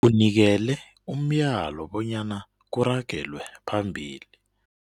Unikele umyalo bonyana kuragelwe phambili.